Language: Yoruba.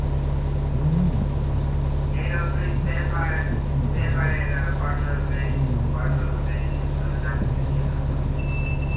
Ni apẹẹrẹ yii um ofin ida marun ninu ogorun jẹ akiyesi.